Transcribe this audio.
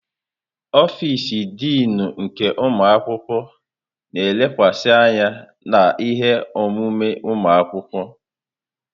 Ọfịs Dịnụ nke ụmụ akwụkwọ na-elekwasị anya na ihe omume ụmụ akwụkwọ.